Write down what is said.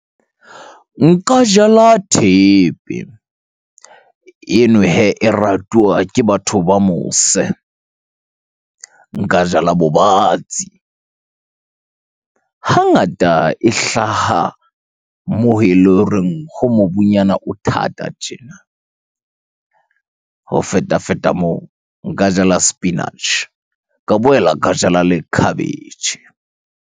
Nka jala thepe. Eno hee e ratuwa ke batho ba mose. Nka jala bobatsi. Hangata e hlaha moo ele horeng ho mobung nyana o thata tjena. Ho feta-feta moo, nka jala sepinatjhe ka boela ka jala le khabetjhe.